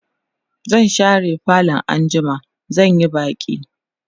zan share falo anjima zan Yi baki